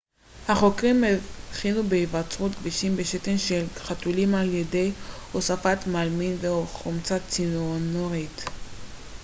החוקרים הבחינו בהיווצרות גבישים בשתן של חתולים על ידי הוספת מלמין וחומצה ציאנורית